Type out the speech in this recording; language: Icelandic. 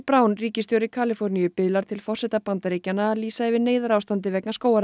Brown ríkisstjóri Kaliforníu biðlar til forseta Bandaríkjanna að lýsa yfir neyðarástandi vegna